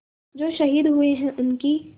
जो शहीद हुए हैं उनकी